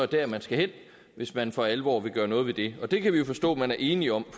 der man skal hen hvis man for alvor vil gøre noget ved det og det kan vi jo forstå man er enige om